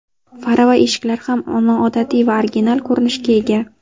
Fara va eshiklar ham noodatiy va original ko‘rinishga ega.